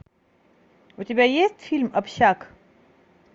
у тебя есть фильм общак